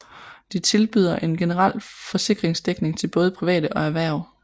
De tilbyder en generel forsikringsdækning til både private og erhverv